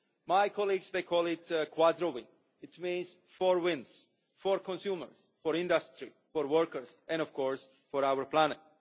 My colleagues call it a quadro win' which means four wins for consumers, for industry, for workers and, of course, for our planet.